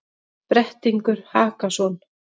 Brettingur Hakason,